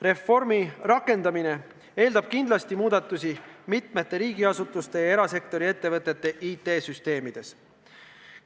Reformi teostamine eeldab kindlasti muudatusi mitmete riigiasutuste ja erasektori ettevõtete IT-süsteemides.